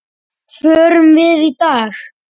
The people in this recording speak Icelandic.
Förum við í dag?